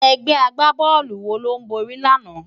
Ègbè ágbábòlú wó ló bóri làná?